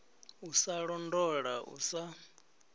u sa londola u sa